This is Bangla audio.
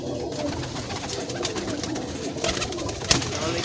তাহলে কি,